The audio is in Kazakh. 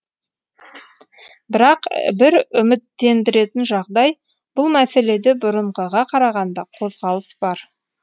бірақ бір үміттендіретін жағдай бұл мәселеде бұрынғыға қарағанда қозғалыс бар